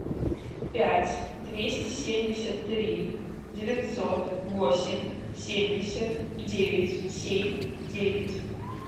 пять двести семьдесят три девятьсот восемь семьдесят девять семь девять